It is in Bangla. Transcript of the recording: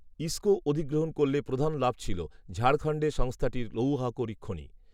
ইস্কো অধিগ্রহণ করলে প্রধান লাভ ছিল ঝাড়খণ্ডে সংস্থাটির লৌহ আকরিক খনি